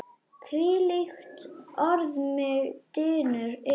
hvílíkt orð mig dynur yfir!